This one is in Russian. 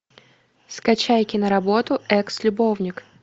скачай киноработу экс любовник